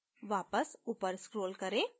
वापस ऊपर scroll करें